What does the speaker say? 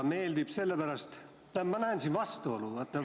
Tähendab, ma näen vastuolu.